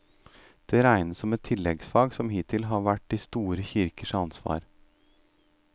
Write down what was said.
Den regnes som et tilleggsfag som hittil har vært de store kirkenes ansvar.